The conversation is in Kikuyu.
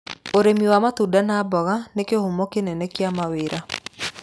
Ũrĩmi wa matunda na mboga nĩ kĩhumo kĩnene kĩa mawĩra.